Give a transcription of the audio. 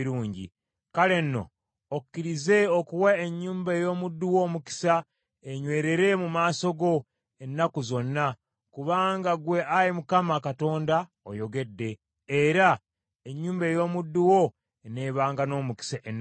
Kale nno okkirize okuwa ennyumba ey’omuddu wo omukisa enywerere mu maaso go ennaku zonna, kubanga ggwe Ayi Mukama Katonda oyogedde, era ennyumba ey’omuddu wo eneebanga n’omukisa ennaku zonna.”